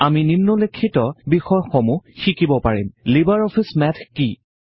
আমি নিম্নোল্লেখিত বিষয়সমূহ শিকিব পাৰিম লিবাৰ অফিচ মেথ কি